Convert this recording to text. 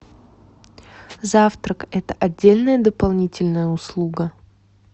завтрак это отдельная дополнительная услуга